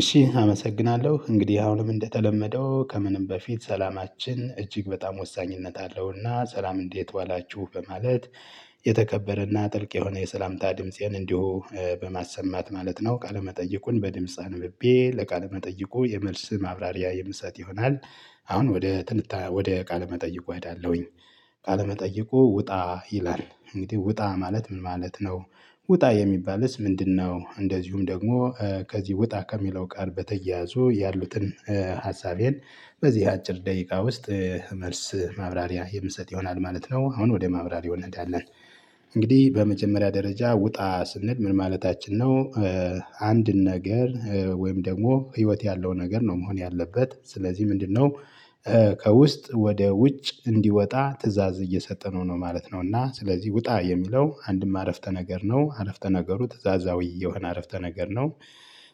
እሺ አመሰግናለሁ እንግዲህ አሁንም እንደተለመደው ከምንም በፊት ሰላማችን እጅግ በጣም ወሳኝነት አለውና ሰላም እንዴት ዋላችሁ በማለት የተከበረና ጥልቅ የሆነ የሰላምታ ድምፄን እንዲሁ በማሰማት ማለት ነው ቃለ መጠይቁን በድምጽ አንብቤ ለቃለ መጠይቁ የመልስ ማብራሪያ የምሰጥ ይሆናል። አሁን ወደ ትንታ ወደ ቃለመጠይቁ እሄዳለሁኝ። ቃለመጠይቁ ውጣ ይላል እንግዲህ ውጣ ማለት ምን ማለት ነው? ውጣ የሚባልስ ምንድነው? እንደዚሁም ደግሞ ከዚህ ውጣ ከሚለው ቃል በተያያዙ ያሉትን ሀሳቤን በዚህ አጭር ደቂቃ ውስጥ መልስ ማብራሪያ የምሰጥ ይሆናል ማለት ነው። አሁን ወደ ማብራሪያው እንሄዳለን። እንግዲህ በመጀመሪያ ደረጃ ውጣ ስንል ምን ማለታችን ነው? አንድን ነገር ወይም ደግሞ ህይወት ያለው ነገር ነው መሆን ያለበት ስለዚህ ምንድነው? ከውስጥ ወደ ውጭ እንዲወጣ ትእዛዝ እየሰጠነው ነው ማለት ነው። እና ስለዚህ ውጣ የሚለው አንድም አረፍተ ነገር ነው አረፍተ ነገሩ ትእዛዛዊ የሆነ አረፍተ ነገር ነው።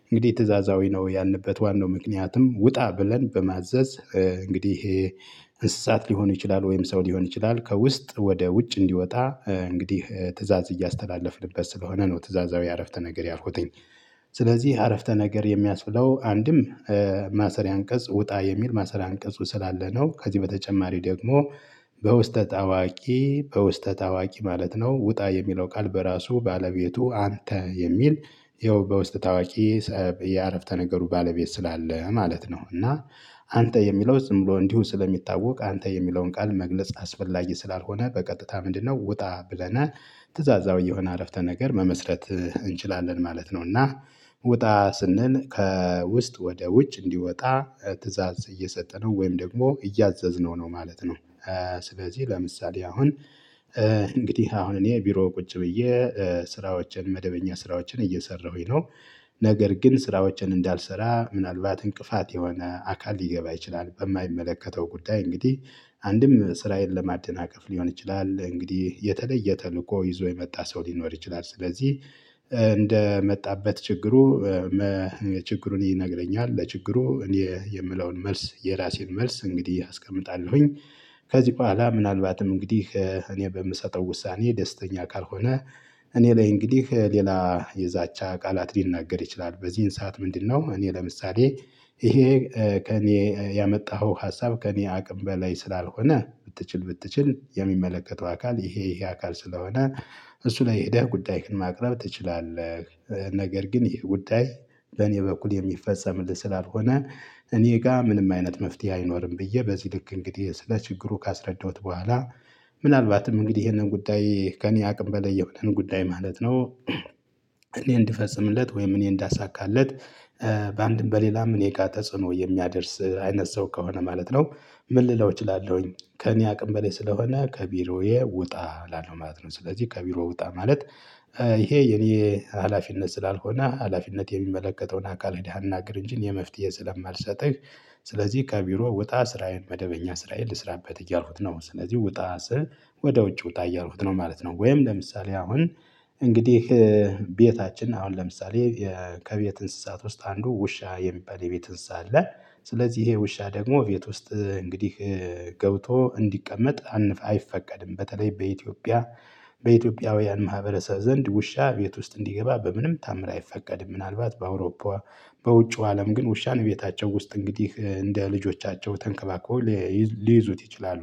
እንግዲህ ትእዛዛዊ ነው ያልንበት ዋናው ምክንያትም ውጣ ብለን በማዘዝ እንግዲህ እንስሳት ሊሆኑ ይችላል ወይም ሰው ሊሆን ይችላል ከውስጥ ወደ ውጭ እንዲወጣ እንግዲህ ትእዛዝ እያስተላለፍንበት ስለሆነ ነው ትእዛዛዊ አረፍተ ነገር ያልኩትኝ። ስለዚህ አረፍተ ነገር የሚያስብለው አንድም ማሰሪያ አንቀጽ ውጣ የሚል ማሰሪያ አንቀጹ ስላለ ነው። ከዚህ በተጨማሪ ደግሞ በውስጠ ጣዋቂ በውስጠ ጣዋቂ ማለት ነው ውጣ የሚለው ቃል በራሱ ባለቤቱ አንተ የሚል ይኸው በውስጥ ታዋቂ የአረፍተ ነገሩ ባለቤት ስላለ ማለት ነው። እና አንተ የሚለው ዝም ብሎ እንዲሁ ስለሚታወቅ አንተ የሚለውን ቃል መግለጽ አስፈላጊ ስላልሆነ በቀጥታ ምንድነው ውጣ ብለናል ትእዛዛዊ የሆነ አረፍተ ነገር መመስረት እንችላለን ማለት ነው። እና ወጣ ስንል ከውስጥ ወደ ውጭ እንዲወጣ ትእዛዝ እየሰጠነው ወይም ደግሞ እያዘዝነው ነው ማለት ነው። ስለዚህ ለምሳሌ አሁን እንግዲህ አሁን እኔ ቢሮ ቁጭ ብዬ ስራዎችን መደበኛ ስራዎችን እየሰራሁኝ ነው። ነገር ግን ስራዎችን እንዳልሰራ ምናልባት እንቅፋት የሆነ አካል ሊገባ ይችላል በማይመለከተው ጉዳይ እንግዲህ አንድም ስራዬን ለማደናቀፍ ሊሆን ይችላል እንግዲህ የተለየ ተልእኮ ይዞ የመጣ ሰው ሊኖር ይችላል ስለዚህ እንደመጣበት ችግሩ ችግሩን ይነግረኛል ለችግሩ እኔ የምለውን መልስ የራሴን መልስ እንግዲህ አስቀምጣለሁኝ። ከዚህ በኋላ ምናልባትም እንግዲህ እኔ በምሰጠው ውሳኔ ደስተኛ ካልሆነ እኔ ላይ እንግዲህ ሌላ የዛቻ ቃላት ሊናገር ይችላል በዚህን ሰዓት ምንድነው እኔ ለምሳሌ ይሄ ከእኔ ያመጣኸው ሀሳብ ከእኔ አቅም በላይ ስላልሆነ ብትችል ብትችል የሚመለከተው አካል ይሄ ይሄ አካል ስለሆነ እሱ ላይ ሄደህ ጉዳይህን ማቅረብ ትችላለህ። ነገር ግን ይሄ ጉዳይ በእኔ በኩል የሚፈጸምልህ ስላልሆነ እኔ ጋር ምንም አይነት መፍትሄ አይኖርም ብዬ በዚህ ልክ እንግዲህ ስለ ችግሩ ካስረዳሁት በኋላ ምናልባትም እንግዲህ ይሄንን ጉዳይ ከእኔ አቅም በላይ የሆነን ጉዳይ ማለት ነው። እኔ እንድፈጽምለት ወይም እኔ እንዳሳካለት በአንድም በሌላም እኔ ጋር ተጽዕኖ የሚያደርስ አይነት ሰው ከሆነ ማለት ነው። ምን ልለው እችላለሁኝ ከእኔ አቅም በላይ ስለሆነ ከቢሮዬ ውጣ ላለው ማለት ነው። ስለዚህ ከቢሮ ውጣ ማለት ይሄ የኔ ሀላፊነት ስላልሆነ ሀላፊነት የሚመለከተውን አካል ሄደህ አናግር እንጂ እኔ መፍትሄ ስለማልሰጥህ። ስለዚህ ከቢሮ ውጣ ስራዬን መደበኛ ስራዬን ልስራበት እያልኩት ነው ስለዚህ ወጣ ወደ ውጭ ውጣ እያልኩት ነው ማለት ነው። ወይም ለምሳሌ አሁን እንግዲህ ቤታችን አሁን ለምሳሌ ከቤት እንስሳት ውስጥ አንዱ ውሻ የሚባል የቤት እንስሳ አለ። ስለዚህ ይሄ ውሻ ደግሞ ቤት ውስጥ እንግዲህ ገብቶ እንዲቀመጥ አይፈቀድም በተለይ በኢትዮጵያ በኢትዮጵያውያን ማህበረሰብ ዘንድ ውሻ ቤት ውስጥ እንዲገባ በምንም ታምር አይፈቀድም። ምናልባት በአውሮፓ በውጪው አለም ግን ውሻን ቤታቸው ውስጥ እንግዲህ እንደ ልጆቻቸው ተንከባክበው ሊይዙት ይችላሉ።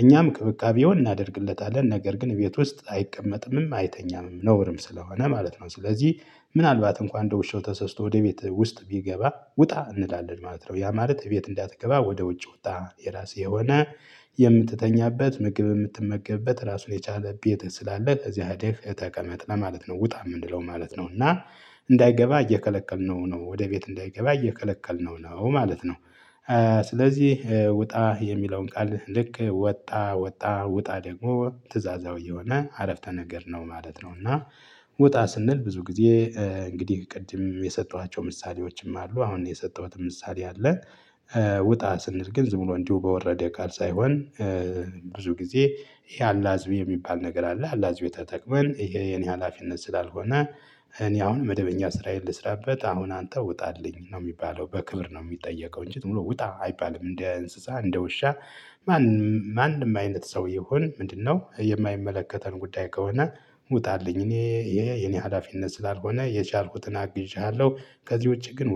እኛም ክብካቤውን እናደርግለታለን ነገር ግን ቤት ውስጥ አይቀመጥምም አይተኛምም ነውርም ስለሆነ ማለት ነው። ስለዚህ ምናልባት እንኳን በውሻው ተሰስቶ ወደ ቤት ውስጥ ቢገባ ውጣ እንላለን ማለት ነው ያ ማለት ቤት እንዳትገባ ወደ ውጭ ውጣ የራሴ የሆነ የምትተኛበት ምግብ የምትመገብበት ራሱን የቻለ ቤት ስላለ ከዚያ ሄደህ ተቀመጥ ለማለት ነው። ውጣ የምንለው ማለት ነው እና እንዳይገባ እየከለከልነው ነው ወደ ቤት እንዳይገባ እየከለከልነው ነው ማለት ነው። ስለዚህ ውጣ የሚለውን ቃል ልክ ወጣ ወጣ ውጣ ደግሞ ትእዛዛዊ የሆነ አረፍተ ነገር ነው ማለት ነው። እና ውጣ ስንል ብዙ ጊዜ እንግዲህ ቅድም የሰጠዋቸው ምሳሌዎችም አሉ አሁን የሰጠሁትን ምሳሌ አለ። ውጣ ስንል ግን ዝም ብሎ እንዲሁ በወረደ ቃል ሳይሆን። ብዙ ጊዜ ይሄ አላዝብ የሚባል ነገር አለ አላዝብ የተጠቅመን ይሄ የኔ ሀላፊነት ስላልሆነ። እኔ አሁን መደበኛ ስራዬን ልስራበት አሁን አንተ ውጣልኝ ነው የሚባለው በክብር ነው የሚጠየቀው እንጂ ዝምብሎ ውጣ አይባልም እንደ እንስሳ እንደ ውሻ። ማንም ማንም አይነት ሰው ይሁን ምንድነው የማይመለከተን ጉዳይ ከሆነ። ውጣልኝ የኔ ይሄ የኔ ሀላፊነት ስላልሆነ የቻልኩትን አግዤሃለሁ ከዚህ ውጪ ግን